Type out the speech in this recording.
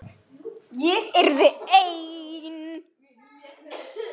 Ég yrði ein.